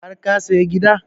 Har ka saya gida?